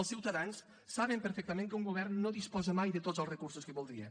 els ciutadans saben perfectament que un govern no disposa mai de tots els recursos que voldria